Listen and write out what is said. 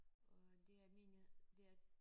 Og det er mine det er